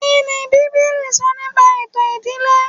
Kíni bíbélì sọ nípa ètò ìdílé